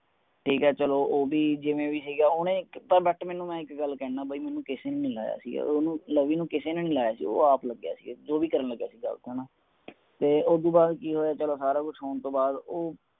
ਠੀਕ ਹੈ ਚਲੋ ਓਹਦੀ ਜਿਵੇ ਵੀ ਗਯੀ ਹੈ ਓਹਨੇ ਇਕ ਤਾ but ਮੈ ਇਕ ਗੱਲ ਕਹਿਣਾ ਆ ਬਈ ਮੇਨੂ ਕਿਸੇ ਨੇ ਨੀ ਲਾਯਾ ਸੀ ਓਹਨੂੰ ਲਵੀ ਨੂੰ ਕਿਸੇ ਨੇ ਨੀ ਲਾਯਾ ਸੀ ਉਹ ਆਪ ਲੱਗਿਆ ਸੀ ਜੋ ਵੀ ਕਰਨ ਲੱਗਿਆ ਸੀ ਗ਼ਲਤ ਹਨ ਤੇ ਓਸਦੋ ਬਾਦ ਕਿ ਹੋਇਆ ਚਲੋ ਸਾਰਾ ਕੁਛ ਹੋਣ ਤੋਂ ਬਾਦ ਉਹ